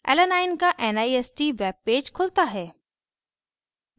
alanine alanine का nist web page खुलता है